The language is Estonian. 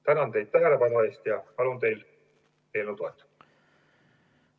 Tänan teid tähelepanu eest ja palun teil eelnõu toetada!